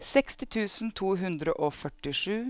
seksti tusen to hundre og førtisju